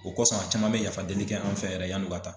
O kɔsɔn a caman bɛ yafadeli kɛ an fɛ yan yɛrɛ yann'u ka taa.